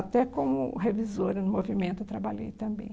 Até como revisora no Movimento eu trabalhei também.